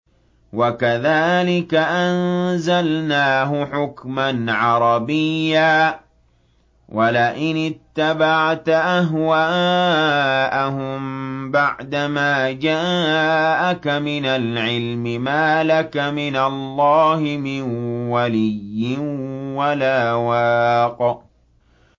وَكَذَٰلِكَ أَنزَلْنَاهُ حُكْمًا عَرَبِيًّا ۚ وَلَئِنِ اتَّبَعْتَ أَهْوَاءَهُم بَعْدَمَا جَاءَكَ مِنَ الْعِلْمِ مَا لَكَ مِنَ اللَّهِ مِن وَلِيٍّ وَلَا وَاقٍ